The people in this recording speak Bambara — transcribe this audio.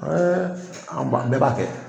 an b'a bɛɛ b'a kɛ.